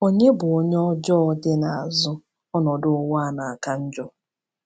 Ònye bụ onye ọjọọ dị n’azụ ọnọdụ ụwa na-aka njọ?